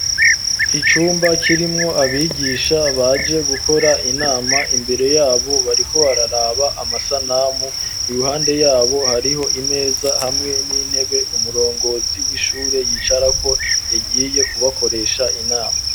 Icumba kirimwo abigisha baje gukora inama, imbere yabo bariko bararaba amasanamu ,iruhande yabo hariho imeza hamwe n'intebe umurongozi w'ishure yicarako yagiye kubakoresha inama.